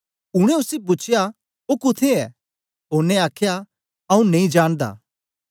उनै उसी पूछया ओ कुत्थें ऐ ओनें आखया आऊँ नेई जानदा